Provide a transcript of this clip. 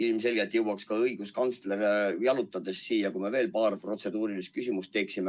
Ilmselgelt jõuaks õiguskantsler ka jalutades siia, kui me veel paar protseduurilist küsimust küsiksime.